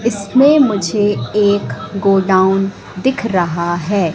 इसमें मुझे एक गोडाउन दिख रहा है।